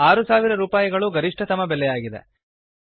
6000 ರೂಪಾಯಿಗಳು ಗರಿಷ್ಠತಮ ಬೆಲೆಯಾಗಿದೆ